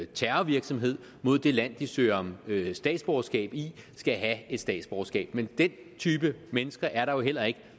terrorvirksomhed mod det land de søger om statsborgerskab i skal have et statsborgerskab men den type mennesker er der jo heller ikke